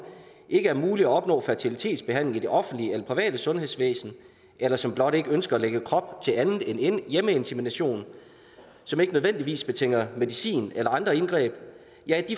ikke er muligt at opnå fertilitetsbehandling i det offentlige eller private sundhedsvæsen eller som blot ikke ønsker at lægge krop til andet end hjemmeinsemination som ikke nødvendigvis betinger medicin eller andre indgreb